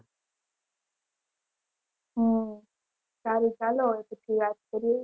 હમ સારું ચાલો હવે પછી વાત કરીએ